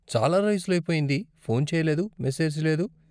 చాలా రోజులైపోయింది, ఫోన్ చేయలేదు, మెసేజ్ లేదు.